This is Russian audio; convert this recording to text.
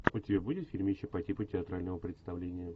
у тебя будет фильмище по типу театрального представления